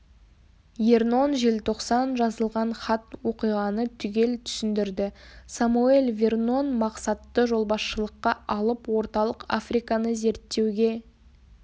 ернон желтоқсан жазылған хат оқиғаны түгел түсіндірді самоэль вернон мақсатты жолбасшылыққа алып орталық африканы зерттеуге